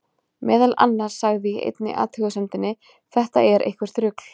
Meðal annars sagði í einni athugasemdinni: Þetta er eitthvert rugl.